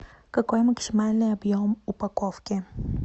какой максимальный объем упаковки